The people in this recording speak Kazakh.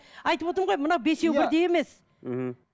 айтып отырмын ғой мына бесеу бірдей емес мхм